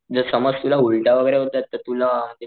जस समाज तुला उलट्या वैगेरे होतायत तर तुला,